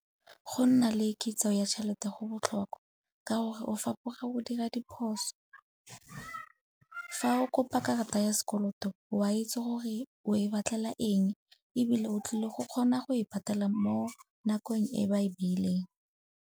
Go nna le kitso ya tšhelete go botlhokwa ka gore o fapoga go dira diphoso. Fa o kopa karata ya sekoloto o a itse gore o e batlela eng ebile o tlile go kgona go e patela mo nakong e ba e beileng.